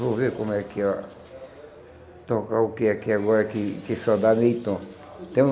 Vou ver como é. Tocar o quê aqui agora que só dá meio tom. Tem um